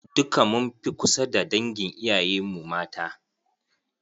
Duka mun fi kusa da dangin iyayen mu mata.